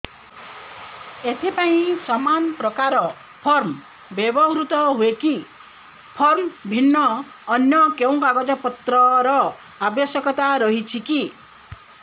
ଏଥିପାଇଁ ସମାନପ୍ରକାର ଫର୍ମ ବ୍ୟବହୃତ ହୂଏକି ଫର୍ମ ଭିନ୍ନ ଅନ୍ୟ କେଉଁ କାଗଜପତ୍ରର ଆବଶ୍ୟକତା ରହିଛିକି